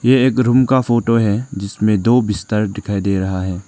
ये एक रूम का फोटो है जिसमें दो बिस्तर दिखाई दे रहा है।